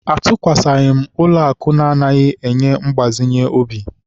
Atụkwasịghị m ụlọakụ anaghị ego mgbazinye obi.